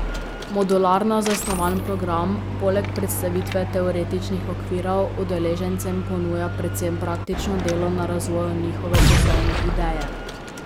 Modularno zasnovan program, poleg predstavitve teoretičnih okvirov, udeležencem ponuja predvsem praktično delo na razvoju njihove poslovne ideje.